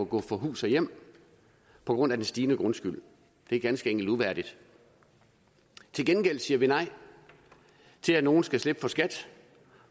gå fra hus og hjem på grund af den stigende grundskyld det er ganske enkelt uværdigt til gengæld siger vi nej til at nogle skal slippe for skat